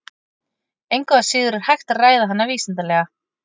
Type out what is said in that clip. Engu að síður er hægt að ræða hana vísindalega.